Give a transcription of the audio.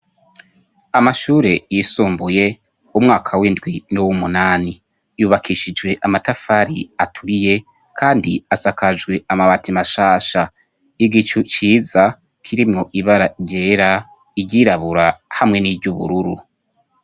Amashure yisumbuye umwaka w'indwi n'w'umunani ,yubakishijwe amatafari aturiye kandi asakajwe amabati mashasha igicu ciza k'irimwo ibaragera igirabura hamwe n'ijy'ubururu.